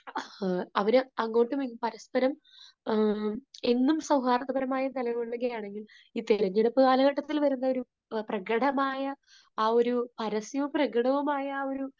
അവരെ അങ്ങോട്ടുമിങ്ങോട്ടും പരസ്പരം എന്നും സൗഹാർദപരമായ തലങ്ങളിലൂടെ ആണെങ്കിലും ഈ തെരഞ്ഞെടുപ്പ് കാലഘട്ടത്തിൽ വരുന്ന ഒരു പ്രകടമായ ആ ഒരു, പരസ്യവും പ്രകടവും ആയ ആ ഒരു